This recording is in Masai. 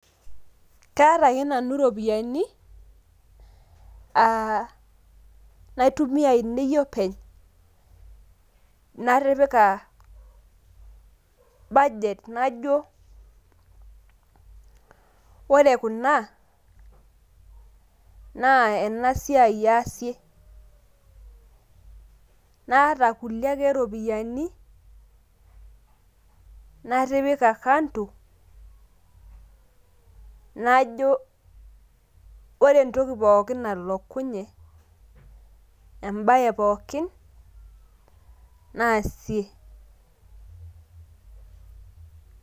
Kaata ake nanu iropiyiani, ah naitumia ainei openy natipika budget najo, ore kuna naa enasiai aasie. Naata kulie ake ropiyaiani, natipika kando, najo ore entoki pookin nalokunye, ebae pookin, naasie.